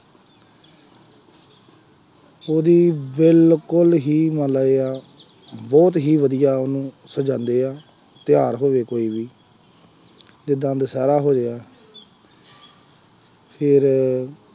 ਉਹਦੀ ਬਿਲਕੁੱਲ ਹੀ ਮੰਨ ਲਉ ਜਾਂ ਬਹੁਤ ਹੀ ਵਧੀਆ ਉਹਨੂੰ ਸਜਾਉਂਦੇ ਆ, ਤਿਉਹਾਰ ਹੋਵੇ ਕੋਈ ਵੀ, ਜਿਦਾਂ ਦੁਸਹਿਰਾ ਹੋਇਆ ਫੇਰ